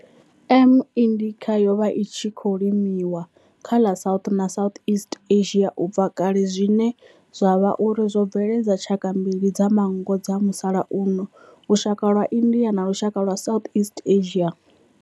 M. indica yo vha i tshi khou limiwa kha ḽa South na Southeast Asia ubva kale zwine zwa vha uri zwo bveledza tshaka mbili dza manngo dza musalauno, lushaka lwa India na lushaka lwa Southeast Asia.